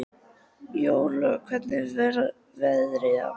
Jórlaug, hvernig er veðrið á morgun?